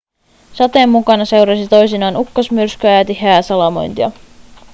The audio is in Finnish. sateen mukana seurasi toisinaan ukkosmyrskyjä ja tiheää salamointia